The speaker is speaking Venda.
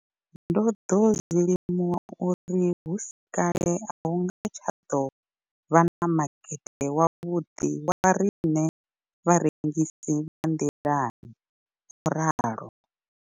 Ndo ḓo zwi limuwa uri hu si kale a hu nga tsha ḓo vha na makete wavhuḓi wa riṋe vharengisi vha nḓilani, o ralo.